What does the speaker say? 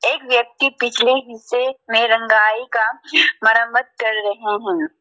एक व्यक्ति पिछले हिस्से मे रंगाई का मरम्मत कर रहा है।